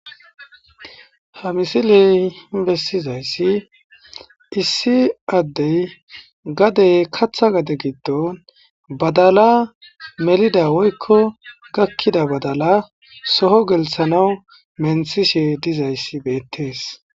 ha misiley bessizayssi issi addey gadey katha gade giddon badala melida woykko gakkida badala soho gelisanawu menthishe dizayssi beettees